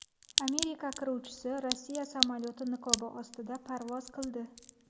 Amerika qiruvchisi Rossiya samolyoti niqobi ostida parvoz qildi .